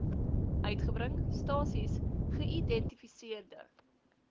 uitgebring stasies geïdentifiseerde